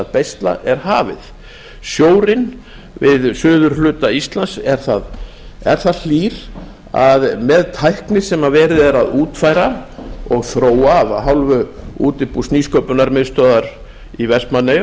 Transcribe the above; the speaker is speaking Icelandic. að beisla er hafið sjórinn við suðurhluta íslands er það hlýr að með tækni sem verið er að útfæra og þróa af hálfu útibús nýsköpunarmiðstöðvar í vestmannaeyjum